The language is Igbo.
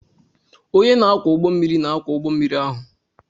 Onye na-akwọ ụgbọ mmiri na-akwọ ụgbọ mmiri ahụ.